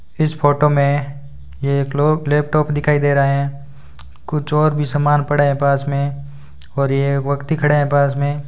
इस फोटो में ये एक लोप लैपटॉप दिखाई दे रहा है कुछ और भी समान पड़े हैं पास में और ये एक व्यक्ति खड़े है पास में--